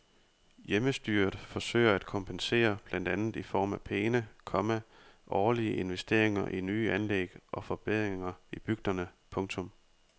Hjemmestyret forsøger at kompensere blandt andet i form af pæne, komma årlige investeringer i nye anlæg og forbedringer i bygderne. punktum